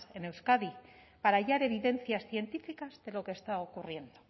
en euskadi para hallar evidencias científicas de lo que está ocurriendo